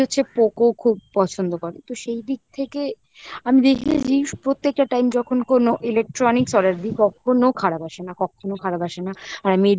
হচ্ছে POCO খুব পছন্দ করে তো সেই দিক থেকে আমি দেখি আমি দেখিয়ে দি প্রত্যেকটা time যখন কোনো electronics order দি কখনো খারাপ আসে না কক্ষনো খারাপ আসে না আর আমি